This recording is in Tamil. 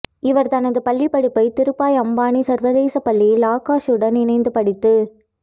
இவர் தனது பள்ளிப்படிப்பை திருபாய் அம்பானி சர்வதேசப் பள்ளியில் ஆகாஷுடன் இணைந்து படித்து